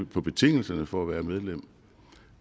på betingelserne for at være medlem